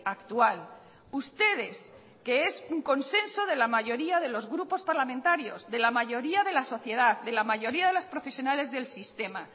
actual ustedes que es un consenso de la mayoría de los grupos parlamentarios de la mayoría de la sociedad de la mayoría de los profesionales del sistema